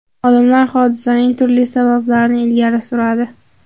Olimlar hodisaning turli sabablarini ilgari suradi.